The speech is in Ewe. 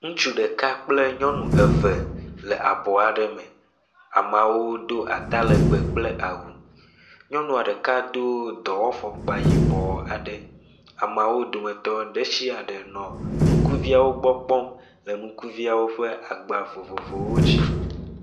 Ŋutsu ɖeka kple nyɔnu eve le abɔ aɖe me. Ameawo do atalegbe kple awu. Nyɔnua ɖeka do dɔwɔfɔkpa yibɔ aɖe. Amea wo dometɔ ɖe sia ɖe nɔ ŋkuviawo gbɔ kpɔm le ŋkuviawo ƒe agba vovovowo dzi.